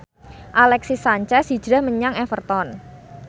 Alexis Sanchez hijrah menyang Everton